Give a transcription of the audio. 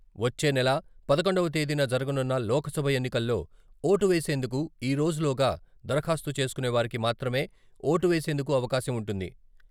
వచ్చే నెల పదకొండవ తేదీన జరగనున్న లోక్సభ ఎన్నికల్లో ఓటు వేసేందుకు ఈరోజు లోగా దరఖాస్తు చేసుకునేవారికి మాత్రమే ఓటు వేసేందుకు అవకాశం ఉంటుంది.